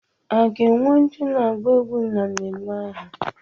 A ga-enwe ndị na-agba egwú na mmemme ahụ?